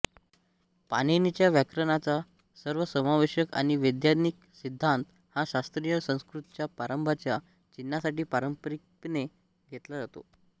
पाणिनीचा व्याकरणाचा सर्वसमावेशक आणि वैज्ञानिक सिद्धांत हा शास्त्रीय संस्कृतच्या प्रारंभाच्या चिन्हासाठी पारंपारिकपणे घेतला जातो